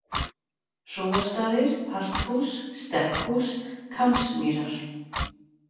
Hróastaðir, Parthús, Stekkhús, Kambsmýrar